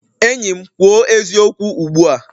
Enyi m kwuo eziokwu ugbu a!